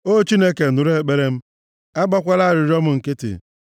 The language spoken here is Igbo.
O Chineke, nụrụ ekpere m, agbakwala arịrịọ m nkịtị;